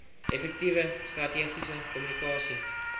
effektiewe strategiese kommunikasie